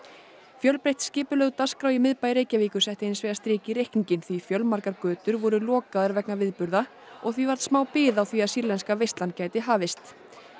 fjölbreytt skipulögð dagskrá í miðbæ Reykjavíkur setti hinsvegar strik í reikninginn því fjölmargar götur voru lokaðar vegna viðburða og því varð smá bið á því að sýrlenska veislan gæti hafist